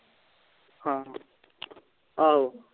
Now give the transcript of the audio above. ਹਾਂ ਆਹੋ